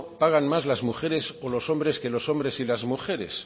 pagan más las mujeres o los hombres que los hombres y las mujeres